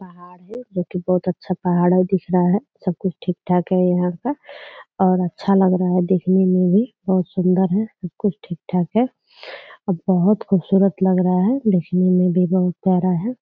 पहाड़ है जो कि बहुत अच्छा पहाड़ है दिख रहा है सब कुछ ठीक ठाक है यहाँ का और अच्छा लग रहा है देखने में भी बहुत सुंदर है सब कुछ ठीक-ठाक है और बहुत खूबसूरत लग रहा है देखने में भी बहुत बड़ा है।